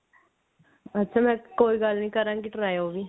ਅੱਛਾ ਮੈਂ ਕੋਈ ਗੱਲ ਨਹੀਂ ਕਰਾਂਗੀ try ਉਹ ਵੀ